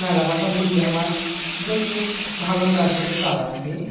মেলা কথা বলি আমার দেখিস ভালো ব্যবসা টা চলা নাকি